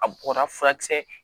A bɔnna furakisɛ